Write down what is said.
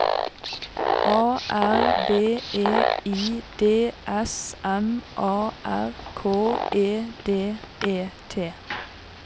A R B E I D S M A R K E D E T